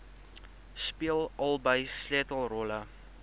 speel albei sleutelrolle